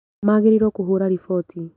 Magĩrirwo kũhũra riboti